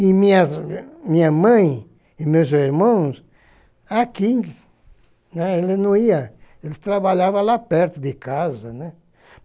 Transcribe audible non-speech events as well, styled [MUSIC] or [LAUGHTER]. E minhas minha mãe e meus irmãos, [UNINTELLIGIBLE] né, eles não iam, eles trabalhavam lá perto de casa, né.